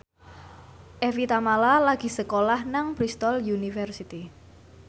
Evie Tamala lagi sekolah nang Bristol university